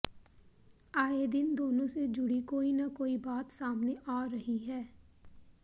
आये दिन दोनों से जुड़ी कोई ना कोई बात सामने आ रही है